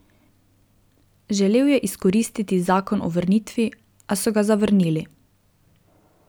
Želel je izkoristiti Zakon o vrnitvi, a so ga zavrnili.